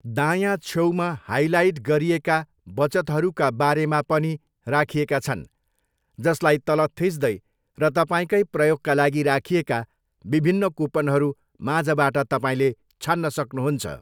दायाँ छेउमा हाइलाइट गरिएका बचतहरूका बारेमा पनि राखिएका छन्, जसलाई तल थिच्दै र तपाईँकै प्रयोगका लागि राखिएका विभिन्न कुपनहरू माझबाट तपाईँले छान्न सक्नुहुन्छ।